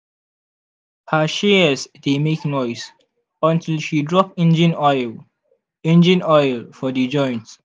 her shears dey make noise until she drop engine oil engine oil for the joint.